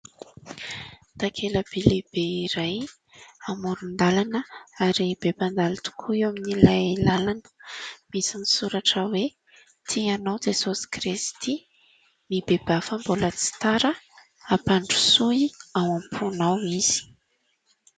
Takelaby lehibe iray amoron-dalana, ary be mpandalo tokoa eo amin'ilay lalana. Misy ny soratra hoe " Tia anao Jesosy Kristy, mibebaha fa mbola tsy tara. Ampandrosoy ao am-ponao izy."